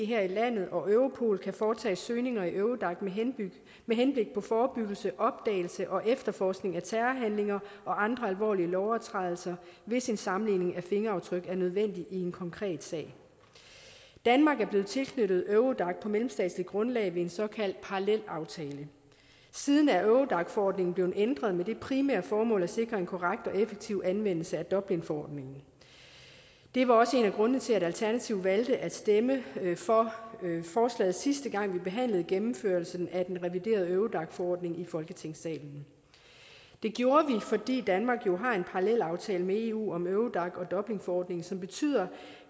her i landet og europol kan foretage søgninger i eurodac med henblik på forebyggelse opdagelse og efterforskning af terrorhandlinger og andre alvorlige lovovertrædelser hvis en sammenligning af fingeraftryk er nødvendig i en konkret sag danmark er blevet tilknyttet eurodac på mellemstatsligt grundlag ved en såkaldt parallelaftale siden er eurodac forordningen blevet ændret med det primære formål at sikre en korrekt og effektiv anvendelse af dublinforordningen det var også en af grundene til at alternativet valgte at stemme for forslaget sidste gang vi behandlede gennemførelsen af den reviderede eurodac forordning i folketingssalen det gjorde vi fordi danmark jo har en parallelaftale med eu om eurodac og dublinforordningen som betyder